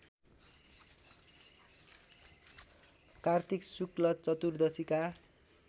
कार्तिक शुक्ल चर्तुदशीका